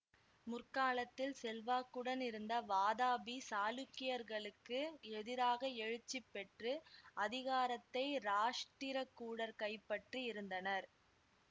முற்காலத்தில் செல்வாக்குடன் இருந்த வாதாபி சாளுக்கியர்களுக்கு எதிராக எழுச்சி பெற்று அதிகாரத்தை இராஷ்டிரகூடர் கைப்பற்றி இருந்தனர்